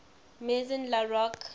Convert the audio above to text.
maison la roche